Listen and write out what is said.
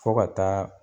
Fo ka taa